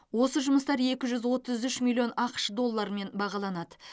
осы жұмыстар екі жүз отыз үш миллион ақш долларымен бағаланады